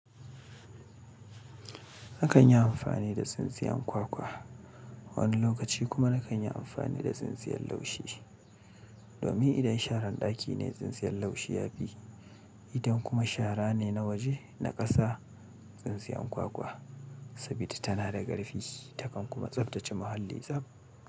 Nakan yi amfani da tsintsiyan kwakwa, wani lokaci kuma nakan yi amfani da tsintsiyan laushi. Domin idan sharan ɗaki ne tsintsiyan laushi ya fi, idan kuma shara ne na waje na ƙasa, tsintsiyan kwakwa saboda tana da ƙarfi takan kuma tsaftace muhalli tsab.